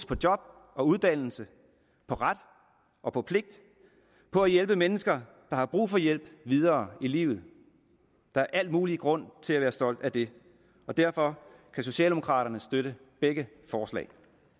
på job og uddannelse på ret og på pligt på at hjælpe mennesker der har brug for hjælp videre i livet der er al mulig grund til at være stolt af det og derfor kan socialdemokraterne støtte begge forslag